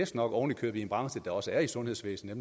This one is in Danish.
sker oven i købet i en branche der også er i sundhedsvæsenet